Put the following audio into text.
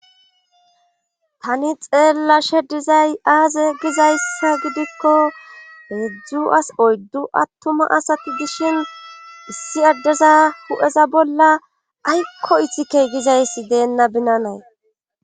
tani xeella she dizay aaze gizayssa gidikko heedzdzu as oyddu attuma asati dishin issi addeza hu7eza bolla aykko ithikey gizayssi deenna binanay